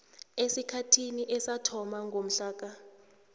esikhathini esathoma ngomhlaka